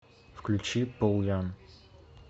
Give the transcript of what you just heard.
включи пол янг